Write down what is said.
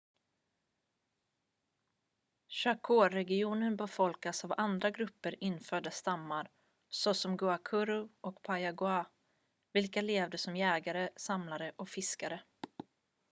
chacoregionen befolkades av andra grupper infödda stammar såsom guaycurú och payaguá vilka levde som jägare samlare och fiskare